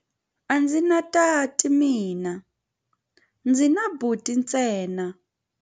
A ndzi na tati mina, ndzi na buti ntsena.